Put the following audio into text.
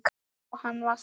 Já, hann var það